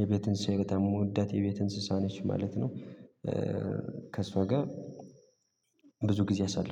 የቤት እንስሳት በጣም የምወዳት የቤት እንስሳት ነች ማለት ነው። ከእሷ ጋር ብዙ ጊዜ አሳልፋለሁ